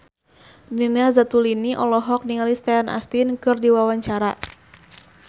Nina Zatulini olohok ningali Sean Astin keur diwawancara